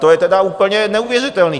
To je tedy úplně neuvěřitelné.